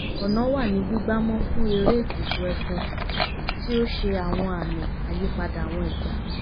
ọ̀nà wà ní gbígbá mọ́ fún eré ètùtù ẹfun tí ó ṣe àwọn àmì àyípadà àwọn ìgbà